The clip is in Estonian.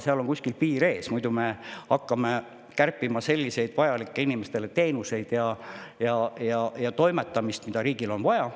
Aga kuskil on piir ees, muidu me hakkame kärpima selliseid inimestele vajalikke teenuseid, mida ka riigil on vaja.